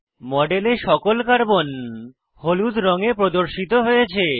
মডেলে সকল কার্বন হলুদ রঙে প্রদর্শিত হয়েছে